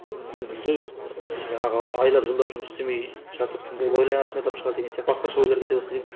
біреу мүмкін мүлде ы жаңағы айлап жылдап жұмыс істемей жатып ойланатын адам шығар деген сияқты басқаша ойлар кете бастайды екен